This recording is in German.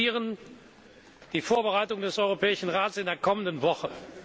Wir diskutieren die Vorbereitung des Europäischen Rates in der kommenden Woche.